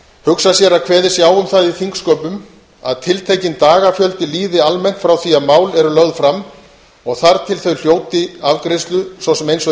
hugsa sér að kveðið sé á um það í þingsköpum að tiltekinn dagafjöldi líði almennt frá því að mál eru lögð fram og þar til þau hljóti afgreiðslu svo sem eins og í